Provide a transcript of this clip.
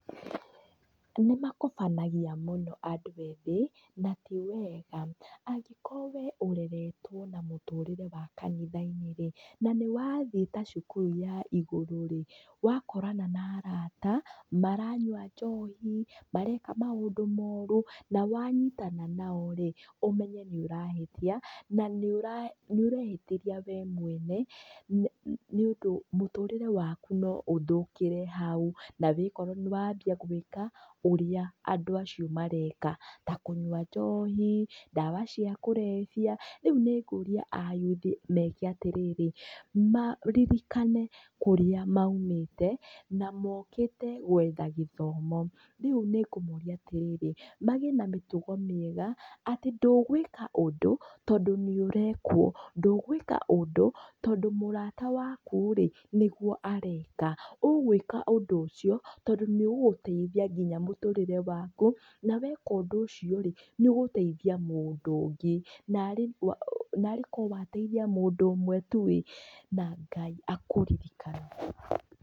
Nĩmakobanagia mũno andũ ethĩ, na ti wega, angĩkorwo wee ũreretwo na mũtũrĩre wa kanitha-inĩ rĩ, nanĩ wa thii ta cukuru ya igũrũ rĩ, wakora na arata, maranyua njohi, mareka maũndũ moru, na wanyitana nao rĩ, ũmenye nĩrahĩtia, na nĩura, nĩũrehĩtĩria we mwene, nĩ nĩũndũ mũtũrĩre waku noũthũkĩre hau nawíkore nĩwambia gwĩka ũrĩa andũ acio mareka, ta kũnyua njohi, ndawa cia kurevia, rĩu nĩngũria a yuthi meke atĩrĩrĩ, ma ririkane kũrĩa maumĩte, na mokĩte gwetha gĩthomo, rĩu nĩngũmoria atĩrĩrĩ, magĩe na mĩtugo mĩega, atĩ ndũgwĩka ũndũ, tondũ nĩũrekwo, ndũgwĩka ũndũ, tondú mũrata waku rĩ, nĩguo areka, ũgwĩka ũndũ ũcio, tondũ nĩũgũgũteithia nginya mũtũrĩre waku, na weka ũndũ ũcio rĩ, nĩũgũteithia mũndũ na [auu] narĩkorwo wateithia mũndũ ũmwe tu ĩ na Ngai akũririkane.